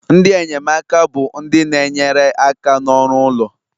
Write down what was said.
Ndị enyemaka bụ ndị na-enyere aka n'ọrụ ụlọ